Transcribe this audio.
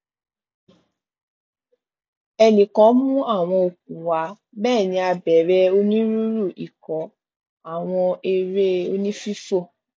ẹnìkan mú àwọn okùn wá bẹẹ ni a bẹrẹ onírúurú ikọ àwọn eré onífífò